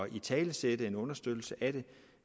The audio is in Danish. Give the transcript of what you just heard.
italesætte en understøttelse af det